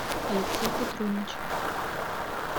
алексей петруничев